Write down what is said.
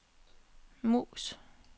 mus